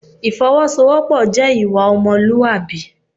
Ìfọwọ́sowọ́pọ̀ jẹ́ ìwà ọmọlúwàbí.